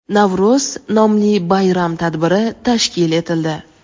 Navro‘z nomli bayram tadbiri tashkil etildi.